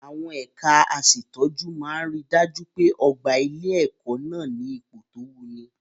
Àwọn ẹ̀ka aṣètọ́jú máa ri dájú pé ọ̀gbà ilé-ẹ̀kọ́ nà ní ipò tó wuni.